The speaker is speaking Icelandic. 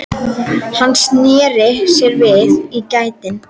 Hann sneri sér við í gættinni.